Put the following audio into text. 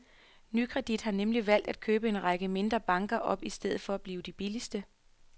Nykredit har nemlig valgt at købe en række mindre banker op i stedet for at blive de billigste.